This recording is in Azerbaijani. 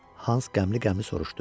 Hans qəmli-qəmli soruşdu.